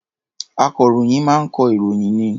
Akọ̀ròyìn máa ń kọ ìròyìn ni.